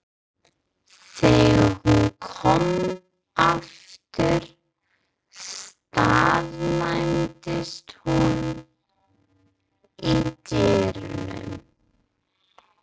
Þegar hún kom aftur staðnæmdist hún í dyrunum.